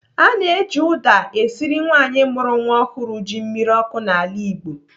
A na-eji ụda esiri nwaanyị mụrụ nwa ọhụrụ ji mmiri ọkụ n'ala Igbo.